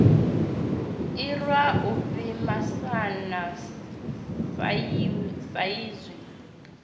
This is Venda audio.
irwa u pfi masana saizwi